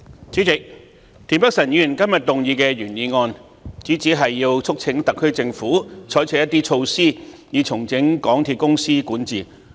主席，田北辰議員動議的原議案，主旨是促請特區政府採取一些措施以重整香港鐵路有限公司的管治。